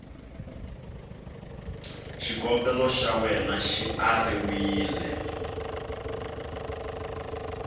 xikombelo xa wena xi ariwile